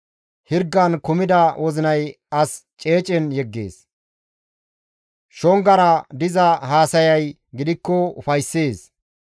Hirgan kumida wozinay as ceecen yeggees; shongara diza haasayay gidikko ufayssees.